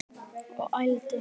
Og ældi.